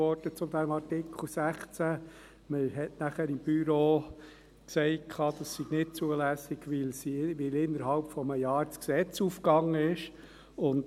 Das Büro des Grossen Rates sagte dann, das sei nicht zulässig, weil innerhalb eines Jahres das entsprechende Gesetz revidiert wurde.